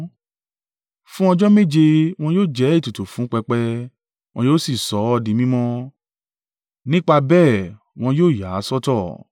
Fún ọjọ́ méje wọn yóò jẹ́ ètùtù fún pẹpẹ, wọn yóò sì sọ ọ́ di mímọ́; nípa bẹ́ẹ̀ wọn yóò yà á sọ́tọ̀.